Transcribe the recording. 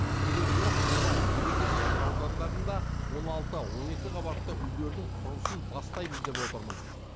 келер жылы қонай береке шағын аудандарында он алты он екі қабатты үйлердің құрылысын бастаймыз деп отырмыз